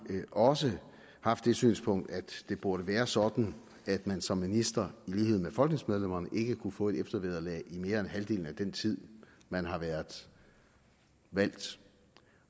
også haft det synspunkt at det burde være sådan at man som minister i lighed med folketingsmedlemmerne ikke kunne få eftervederlag i mere end halvdelen af den tid man har været valgt